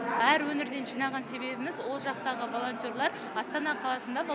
әр өңірден жинаған себебіміз ол жақтағы волонтерлар астана қаласында